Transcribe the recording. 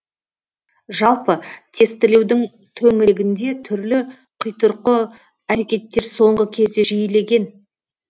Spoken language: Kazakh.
жалпы тестілеудің төңірегінде түрлі қитұрқы әрекеттер соңғы кезде жиілеген